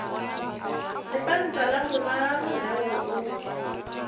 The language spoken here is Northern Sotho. lepanta la boraro leo o